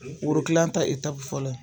Woro kilan ta fɔlɔ ye.